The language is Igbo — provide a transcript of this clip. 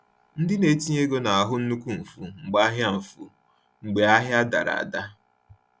Ndị na-etinye ego na-ahụ nnukwu mfu mgbe ahịa mfu mgbe ahịa dara ada.